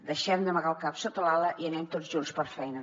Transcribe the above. deixem d’amagar el cap sota l’ala i anem tots junts per feina